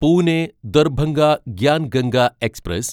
Pune Darbhanga Gyan Ganga express